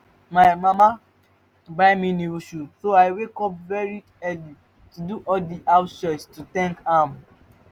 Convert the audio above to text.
my mama buy me new shoe so i wake up very early do all the house chores to thank am